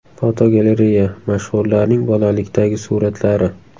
Fotogalereya: Mashhurlarning bolalikdagi suratlari.